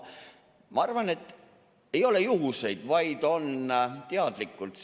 Ma arvan, et ei ole juhuseid, vaid on teadlikult.